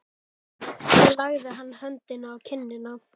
Svo lagði hann höndina á kinnina.